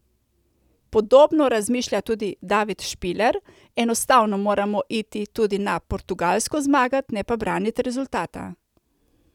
Podobno razmišlja tudi David Špiler: 'Enostavno moramo iti tudi na Portugalsko zmagat, ne pa branit rezultata.